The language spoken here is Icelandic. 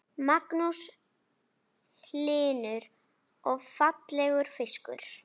Magnús Hlynur: Og fallegur fiskur?